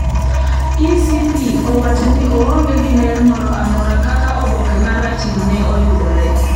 ECP owacho ni oonge gi ler moro amora kaka oboke marachno ne oyudore.